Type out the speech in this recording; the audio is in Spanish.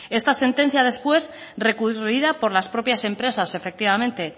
esta sentencia después recurrida por las propias empresas efectivamente